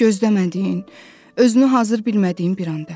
Gözləmədiyin, özünü hazır bilmədiyin bir anda.